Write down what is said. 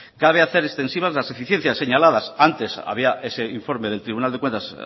cabe hacer extensivas las deficiencias señaladas antes había ese informe del tribunal de cuentas